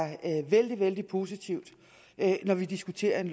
vældig vældig positivt når vi diskuterer et